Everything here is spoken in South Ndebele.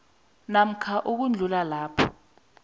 namkha ukudlula lapho